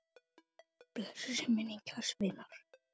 Blessuð sé minning kærs vinar.